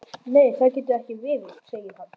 Nei það getur ekki verið, segir hann.